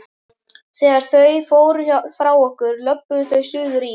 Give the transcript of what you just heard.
Þegar þau fóru frá okkur, löbbuðu þau suður í